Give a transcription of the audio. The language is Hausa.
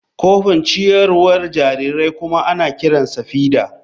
Kofin ciyarwar jarirai kuma ana kiransa feeder.